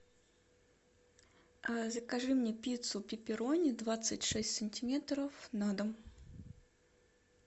закажи мне пиццу пеперони двадцать шесть сантиметров на дом